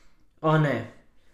O, ne.